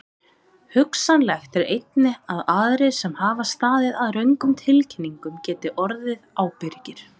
Hugsanlegt er einnig að aðrir sem hafa staðið að röngum tilkynningum geti orðið ábyrgir.